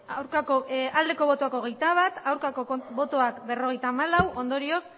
vale emandako botoak hirurogeita hamabost bai hogeita bat ez berrogeita hamalau ondorioz